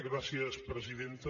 gràcies presidenta